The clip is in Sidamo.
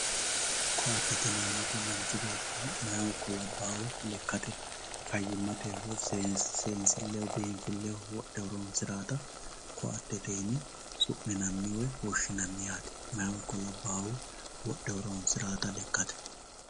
Ko`atete yinemoti manchi beeti mayihu ikko labaahu lekate fayimate woyi seensileho binfileho wodhe horonsirawota ko`atete yine su`minani woy woshinani yate mayihu labaahu wodhe horonsirawota lekate.